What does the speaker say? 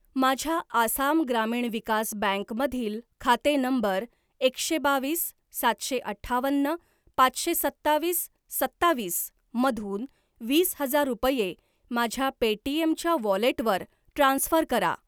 माझ्या आसाम ग्रामीण विकास बँक मधील खाते नंबर एकशे बावीस सातशे अठ्ठावन्न पाचशे सत्तावीस सत्तावीस मधून वीस हजार रुपये माझ्या पेटीएम च्या वॉलेटवर ट्रान्स्फर करा.